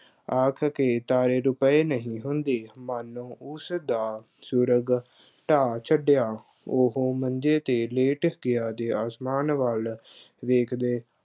ਆਖ ਕਿ ਤਾਰੇ ਰੁਪਏ ਨਹੀਂ ਹੁੰਦੇ, ਮੰਨ ਲਓ, ਉਸਦਾ ਸਵਰਗ ਢਾਅ ਛੱਡਿਆ। ਉਹ ਮੰਜ਼ੇ ਤੇ ਲੇਟ ਗਿਆ ਅਤੇ ਅਸਮਾਨ ਵੱਲ ਵੇਖਦੇ